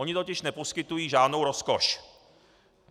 Ony totiž neposkytují žádnou rozkoš.